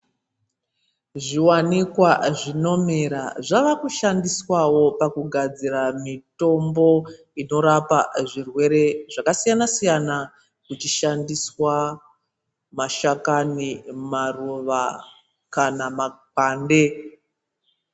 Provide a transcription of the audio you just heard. Zviwanikwa zvinomera zvavakushandiswawo pakuhad, ira mitombo inorapa zvirwere zvakasiyana siyana kuchishandiswe mashakani, maruva kana makwande.